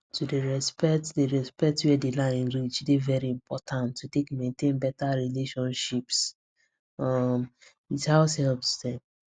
to dey respect dey respect where d line reach dey very important to take maintain beta relationships um with househelps dem